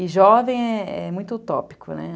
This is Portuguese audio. E jovem é é muito utópico, né?